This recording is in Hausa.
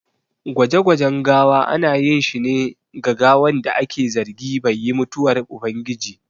Gwaje gwajen gawa ana ƴin shi ne ga gawan da aƙe zargi bai yi mutuwar ubangiji.